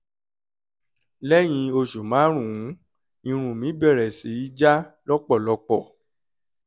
lẹ́yìn oṣù márùn-ún irun mi bẹ̀rẹ̀ sí í já lọ́pọ̀lọpọ̀